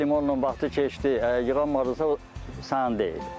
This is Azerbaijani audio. Limonun vaxtı keçdi, yığanmadınsa sənin deyil.